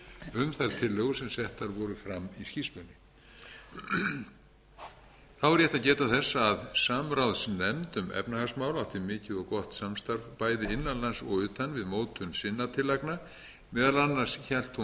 um þær tillögur sem settar voru fram í skýrslunni þá er rétt að geta þess að samráðsnefnd um efnahagsmál átti mikið og gott samstarf bæði innan lands og utan við mótun sinna tillagna meðal annars hélt hún